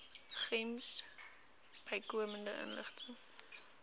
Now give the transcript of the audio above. gems bykomende inligting